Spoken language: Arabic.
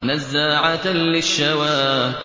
نَزَّاعَةً لِّلشَّوَىٰ